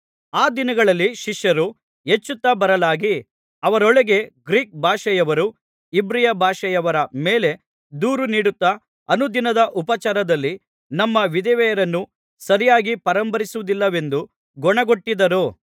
ಆ ದಿನಗಳಲ್ಲಿ ಶಿಷ್ಯರು ಹೆಚ್ಚುತ್ತಾ ಬರಲಾಗಿ ಅವರೊಳಗೆ ಗ್ರೀಕ್ ಭಾಷೆಯವರು ಇಬ್ರಿಯ ಭಾಷೆಯವರ ಮೇಲೆ ದೂರು ನೀಡುತ್ತಾ ಅನುದಿನದ ಉಪಚಾರದಲ್ಲಿ ನಮ್ಮ ವಿಧವೆಯರನ್ನು ಸರಿಯಾಗಿ ಪರಾಂಬರಿಸುವುದಿಲ್ಲವೆಂದು ಗೊಣಗುಟ್ಟಿದರು